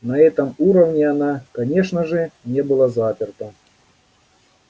на этом уровне она конечно же не была заперта